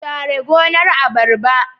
Share gonar abarba